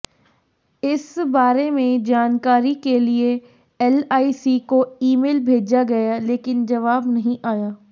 इस बारे में जानकारी के लिए एलआईसी को ईमेल भेजा गया लेकिन जवाब नहीं आया